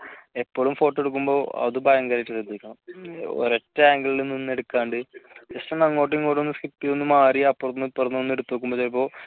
എപ്പോളും photo എടുക്കുമ്പോൾ അത് ഭയങ്കരമായിട്ട് ശ്രദ്ധിക്കണം ഒരു ഒറ്റ angle ൽ നിന്ന് എടുക്കാണ്ട് just ഒന്ന് അങ്ങോട്ടും ഇങ്ങോട്ടും ഒന്ന് skip ചെയ്തു ഒന്ന് മാറി അപ്പുറത്തുനിന്നും ഇപ്പുറത്തുനിന്നും ഒന്ന് എടുത്തു നോക്കുമ്പോഴേക്കും